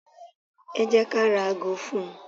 Ẹ jẹ́ ka ra ago fún-un.